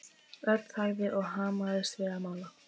Örn þagði og hamaðist við að mála.